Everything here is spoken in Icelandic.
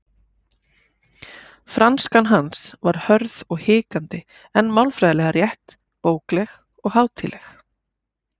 Franskan hans var hörð og hikandi en málfræðilega rétt, bókleg og hátíðleg.